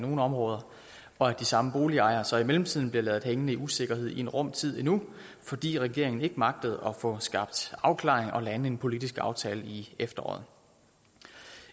nogle områder og de samme boligejere bliver så i mellemtiden ladt hængende i usikkerhed i en rum tid endnu fordi regeringen ikke magtede at få skabt afklaring og lande en politisk aftale i efteråret